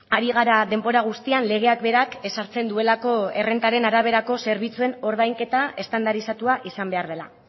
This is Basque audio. ari gara denbora guztian legeak berak ezartzen duelako errentaren araberako zerbitzuen ordainketa estandarizatua izan behar dela